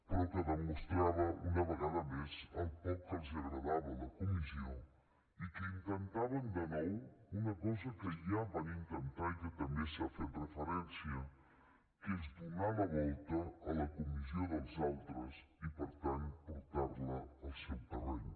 però que demostrava una vegada més el poc que els agradava la comissió i que intentaven de nou una cosa que ja van intentar i que també s’hi ha fet referència que és donar la volta a la comissió dels altres i per tant portar la al seu terreny